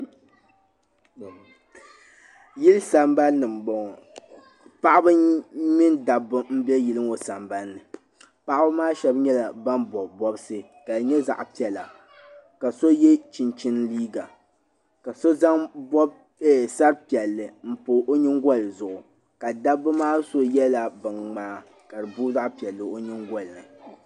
Yili san ban ni n bɔŋɔ. paɣaba mini dabba m-be yilŋɔ sambanni maani. paɣaba maa shabi bɔbila bɔbsi ka di nyɛ zaɣi piɛla ka sɔye chinchini liiga ka so zaŋ dari piɛli n pa ɔnyiŋgolizuɣu. ka dabi maa so yela bɛn mŋaa kadi boo zaɣi piɛli di nyiŋgolini.